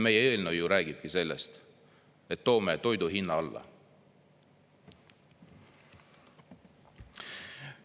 Meie eelnõu räägibki sellest, et toome toidu hinna alla.